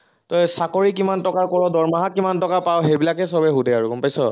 তই চাকৰি কিমান টকাৰ কৰ, দৰমহা কিমান টকাৰ পাৱ, সেইবিলাকেই সৱেই সুধে আৰু গম পাইছ?